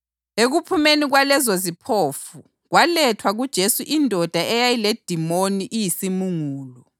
Ekuphumeni kwalezoziphofu, kwalethwa kuJesu indoda eyayiledimoni iyisimungulu.